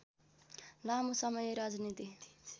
लामो समय राजनीति